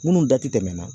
Minnu da tɛ tɛmɛ na